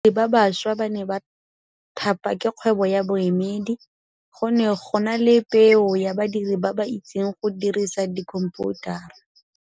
Badiri ba baša ba ne ba thapa ke kgwebo ya boemedi. Go ne gona le pêô ya badiri ba ba itseng go dirisa dikhomphutara.